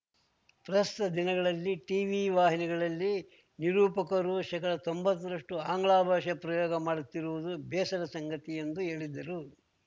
ಪ್ರಸ್ತುತ ದಿನಗಳಲ್ಲಿ ಟಿವಿ ವಾಹಿನಿಗಳಲ್ಲಿ ನಿರೂಪಕರು ಶೇಕಡತೊಂಬತ್ತರಷ್ಟುಅಂಗ್ಲಭಾಷೆ ಪ್ರಯೋಗ ಮಾಡುತ್ತಿರುವುದು ಬೇಸರದ ಸಂಗತಿ ಎಂದು ಹೇಳಿದ್ದರು